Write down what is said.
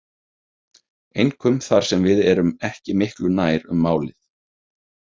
Einkum þar sem við erum ekki miklu nær um málið.